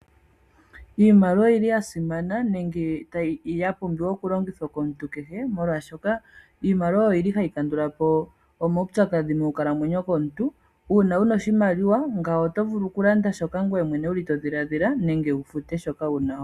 Iimaliwa oyili yasimana yo oyapumbiwa oku longithwa komuntu kehe moshaashoka iimaliwa oyili ha yi kandulapo omaupyakadhi mo nkalamweyo yomuntu . Uuna wu na oshimaliwa nga wo otovulu oku landa shoka ngoye mwene wu li todhiladhila nenge wu fute shoka wahala.